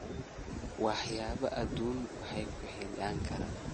Waxyaabaha adduunyadu way ku xidhi karaan.